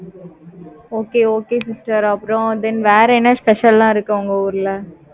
okay okay sister, அப்புறம், then வேற என்ன special எல்லாம் இருக்கு உங்க ஊர்ல